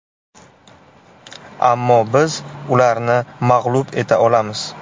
Ammo biz ularni mag‘lub eta olamiz.